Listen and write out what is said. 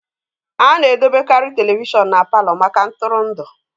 A na-edobekarị telivishọn na Palọ maka ntụrụndụ